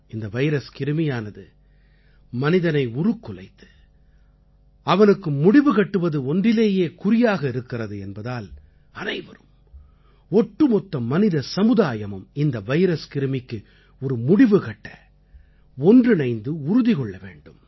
இந்த வைரஸ் கிருமியானது மனிதனை உருக்குலைத்து அவனுக்கு முடிவு கட்டுவது ஒன்றிலேயே குறியாக இருக்கிறது என்பதால் அனைவரும் ஒட்டுமொத்த மனித சமுதாயமும் இந்த வைரஸ் கிருமிக்கு ஒரு முடிவுகட்ட ஒன்றிணைந்து உறுதி கொள்ள வேண்டும்